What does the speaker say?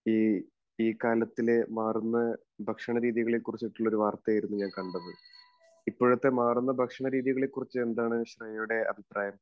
ഈ കാലത്തിലെ മാറുന്ന ഭക്ഷണരീതികളെക്കുറിച്ചുള്ള ഒരു വാർത്തയായിരുന്നു ഞാൻ കണ്ടത്. ഇപ്പോഴത്തെ മാറുന്ന ഭക്ഷണരീതികളെക്കുറിച്ച് എന്താണ് ശ്രേയയുടെ അഭിപ്രായം?